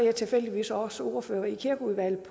er tilfældigvis også ordfører i kirkeudvalget